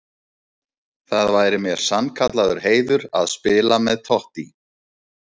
Það væri mér sannkallaður heiður að spila með Totti.